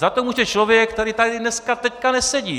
Za to může člověk, který tady dneska, teď, nesedí.